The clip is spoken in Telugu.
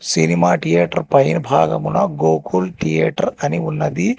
సినిమా టియేటర్ పైన భాగమున గోకుల్ థియేటర్ అని ఉన్నది.